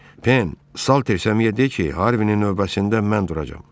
Pen, Salters əmiyə de ki, Harvinin növbəsində mən duracam.